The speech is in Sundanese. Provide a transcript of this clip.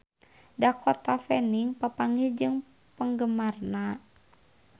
Dakota Fanning papanggih jeung penggemarna